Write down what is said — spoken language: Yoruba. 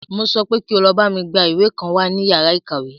Mo sọ pé kí o bámi lọ gbá ìwé kan wá ní yàrá ìkàwé!